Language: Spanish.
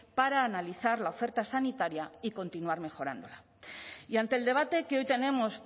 para analizar la oferta sanitaria y continuar mejorándola y ante el debate que hoy tenemos